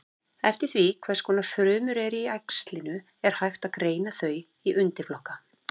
Eftir því hvers konar frumur eru í æxlinu er hægt að greina þau í undirflokka.